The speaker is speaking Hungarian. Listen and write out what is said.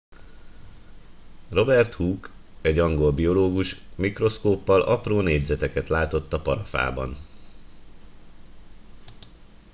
robert hooke egy angol biológus mikroszkóppal apró négyzeteket látott a parafában